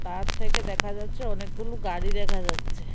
Park থেকে দেখা যাচ্ছে অনেকগুলু গাড়ি দেখা যাচ্ছে।